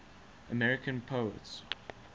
american poets